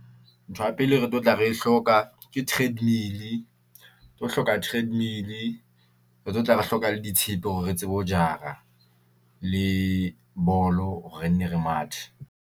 Ntho ya pele e re tlotla re e hloka ke treadmill-e. Re tlo hloka treadmill-e re tlotla re hloka le ditshepe hore re tsebe ho jara le bolo re nne re mathe.